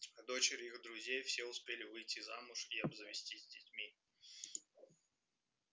а дочери их друзей все успели выйти замуж и обзавестись детьми